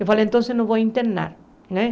Eu falei, então eu não vou internar. Né